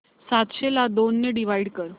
सातशे ला दोन ने डिवाइड कर